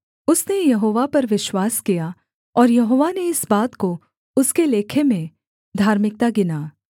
उसने यहोवा पर विश्वास किया और यहोवा ने इस बात को उसके लेखे में धार्मिकता गिना